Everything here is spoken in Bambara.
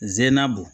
Ze na bo